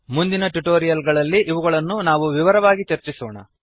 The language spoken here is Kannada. ಮುಂದಿನ ಟ್ಯುಟೋರಿಯಲ್ ಗಳಲ್ಲಿ ಇವುಗಳನ್ನು ನಾವು ವಿವರವಾಗಿ ಚರ್ಚಿಸೋಣ